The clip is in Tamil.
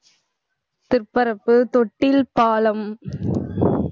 திற்பரப்பு, தொட்டில் பாலம்